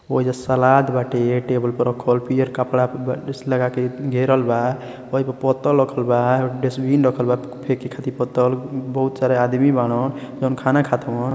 ओहिजा सलाद बाटे टेबल प रखल। पियर कपड़ा प लगाके घेरल बा। ओहि प पत्तल रखल बा। डस्ट्बिन रखल बा फेके खाती पत्तल। बहुत सारा आदमी बाड़न जोन खाना खत हवन।